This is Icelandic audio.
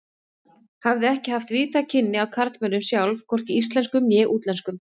Hafði ekki haft víðtæk kynni af karlmönnum sjálf, hvorki íslenskum né útlenskum.